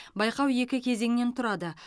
байқау екі кезеңнен тұрады